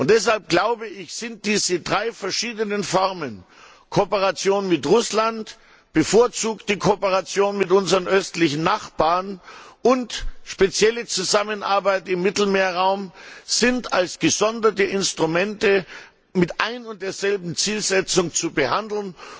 Deshalb sind diese drei verschiedenen Formen Kooperation mit Russland, bevorzugte Kooperation mit unseren östlichen Nachbarn und spezielle Zusammenarbeit im Mittelmeerraum als gesonderte Instrumente mit ein und derselben Zielsetzung zu behandeln.